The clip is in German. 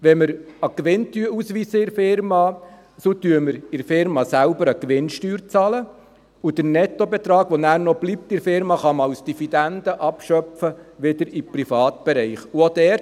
Wenn wir in der Unternehmung einen Gewinn ausweisen, bezahlen wir in dieser selbst eine Gewinnsteuer, und den Nettobetrag, der dann noch in der Unternehmung bleibt, kann man als Dividende wieder in den Privatbereich abschöpfen.